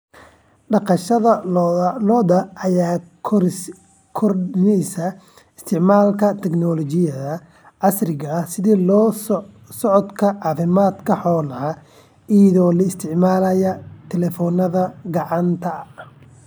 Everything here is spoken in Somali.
Dhaqashada lo'da lo'da ayaa kordhisay isticmaalka tignoolajiyada casriga ah sida la socodka caafimaadka xoolaha iyadoo la isticmaalayo taleefannada gacanta.